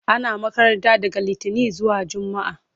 Ana makaranta daga litinin zuwa jumaa.